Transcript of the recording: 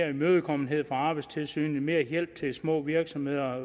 og imødekommenhed fra arbejdstilsynet mere hjælp til små virksomheder og